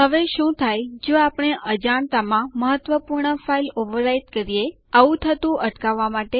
આ યુઝર માંથી લૉગઆઉટ કરવા માટે ટાઇપ કરો લોગઆઉટ લખો અને Enter દબાવો